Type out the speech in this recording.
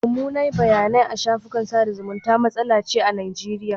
Mummunan bayanai a shafukan sada zumunta matsala ce a Najeriya.